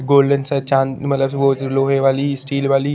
golden सा चाँद मतलब बो लोहे वाली स्टील वाली--